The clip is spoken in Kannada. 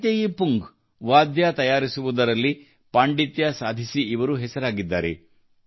ಮೈತೇಯಿ ಪುಂಗ್ ವಾದ್ಯ ತಯಾರಿಸುವುದರಲ್ಲಿ ಪಾಂಡಿತ್ಯ ಸಾಧಿಸಿ ಇವರು ಹೆಸರಾಗಿದ್ದಾರೆ